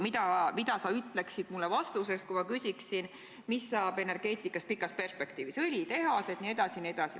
Mida sa ütled mulle vastuseks, kui ma küsin, mis saab energeetikast pikas perspektiivis – õlitehased jne, jne?